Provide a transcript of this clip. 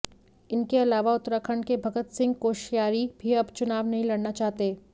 इनके अलावा उत्तराखंड के भगत सिंह कोश्यारी भी अब चुनाव नहीं लड़ना चाहते